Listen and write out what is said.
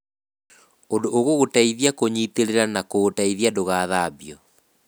ũndũ ũgũgũteithia kũnyitĩrĩra na kũũteithia ndũgathambio.